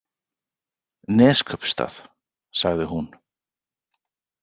Neskaupstað, sagði hún.